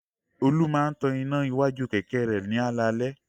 Olú máa tan iná iwájú kẹ̀kẹ́ rẹ̀ ní alaalẹ́.